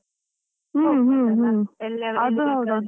ಹ್ಮ್ ಹ್ಮ್ ಹ್ಮ್, .